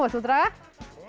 þú draga